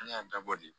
An y'a dabɔ de